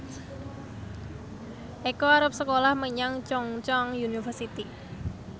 Eko arep sekolah menyang Chungceong University